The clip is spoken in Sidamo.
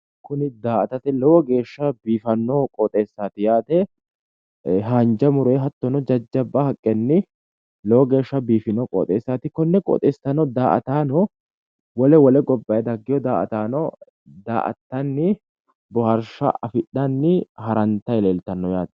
Kuni daa"atate lowo geeshsha biifanno qooxeessaati yaate haanja muroyi hattono jajjabba haqqenni lowo geeshsha biifino qooxeessaati konne qoxeessano daa"ataano wole wole gobbayi daggeyo daa"ataano daa"attanni bohaarsha afidhayi harantayi leeltanno yaate.